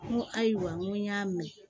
N ko ayiwa n ko y'a mɛn